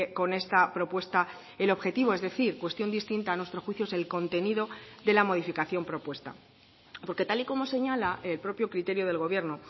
con esta propuesta el objetivo es decir cuestión distinta a nuestro juicio es el contenido de la modificación propuesta porque tal y como señala el propio criterio del gobierno